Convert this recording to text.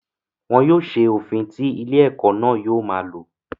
Wọn yóò se òfin tí ilé-ẹ̀kọ́ náà yóò ma lò.